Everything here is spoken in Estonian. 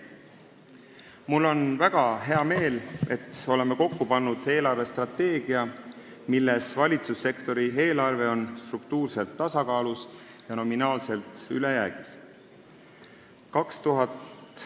Mul on väga hea meel, et oleme kokku pannud eelarvestrateegia, mis näeb ette, et valitsussektori eelarve on struktuurselt tasakaalus ja nominaalselt ülejäägis.